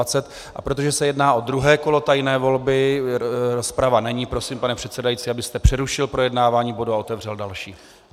A protože se jedná o druhé kolo tajné volby, rozprava není, prosím, pane předsedající, abyste přerušil projednávání bodu a otevřel další.